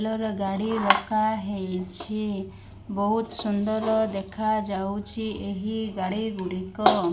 ଲର ଗାଡ଼ି ରଖା ହେଇଛି। ବୋହୁତ ସୁନ୍ଦର୍ ଦେଖାଯାଉଛି ଏହି ଗାଡ଼ି ଗୁଡ଼ିକ।